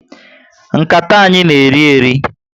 Nkata anyị na eri eri